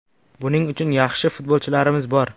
Buning uchun yaxshi futbolchilarimiz bor.